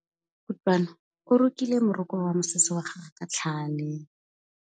Kutlwanô o rokile morokô wa mosese wa gagwe ka tlhale.